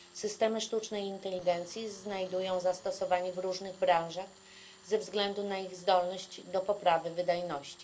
Systemy sztucznej inteligencji znajdują zastosowanie w różnych branżach ze względu na swoją zdolność do poprawy wydajności.